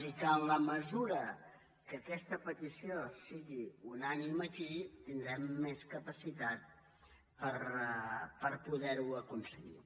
i en la mesura que aquesta petició sigui unànime aquí tindrem més capacitat per poder ho aconseguir